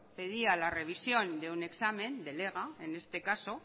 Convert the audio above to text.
pedía la revisión de una examen del ega en este caso